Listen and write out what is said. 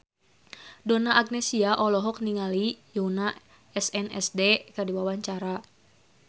Donna Agnesia olohok ningali Yoona SNSD keur diwawancara